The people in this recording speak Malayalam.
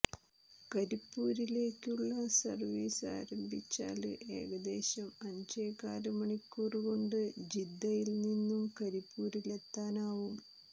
കരിപ്പൂരിലേക്കുള്ള സര്വീസ് ആരംഭിച്ചാല് ഏകദേശം അഞ്ചേകാല് മണിക്കൂര് കൊണ്ട് ജിദ്ദയില് നിന്നും കരിപ്പൂരിലെത്താനാവും